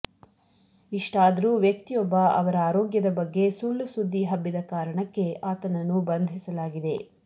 ಇಷ್ಟಾದರೂ ವ್ಯಕ್ತಿಯೊಬ್ಬ ಅವರ ಆರೋಗ್ಯದ ಬಗ್ಗೆ ಸುಳ್ಳುಸುದ್ದಿ ಹಬ್ಬಿದ ಕಾರಣಕ್ಕೆ ಆತನನ್ನು ಬಂಧಿಸಲಾಗಿದೆ